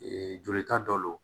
jolita dɔ don